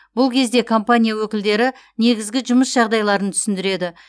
бұл кезде компания өкілдері негізгі жұмыс жағдайларын түсіндіреді